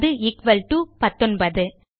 அது equal to 19